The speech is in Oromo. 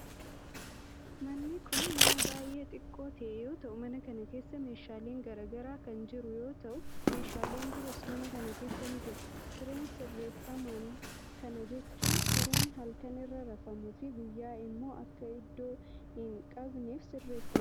Manni kun, mana baay'ee xiqqoo ta'e yoo ta'u, mana kana keesa meeshaaleen garaa garaa kan jiru yoo ta'u meeshaaleen biroos mana kana keessa ni jiru. Sireen sisirreeffman, kana jechuun sireen halkan irra rafamuu fi guyyaa immoo akka iddoo hin qabanneef sisirreefamus ni jira.